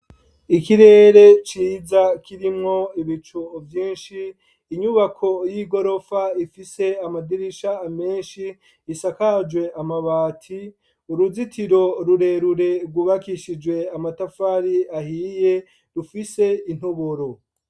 Ikirere ciza kirimwo ibicu vyinshi, inyubako y'igorofa ifise amadirisha menshi ,isakajwe amabati , uruzitiro rurerure rwubakishijwe amatafari ahiye rufise intoboro.